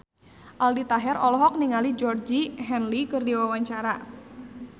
Aldi Taher olohok ningali Georgie Henley keur diwawancara